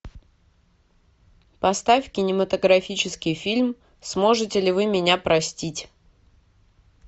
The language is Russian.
поставь кинематографический фильм сможете ли вы меня простить